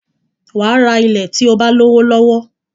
Wàá ra ilẹ̀ tí o bá lówó lọ́wọ́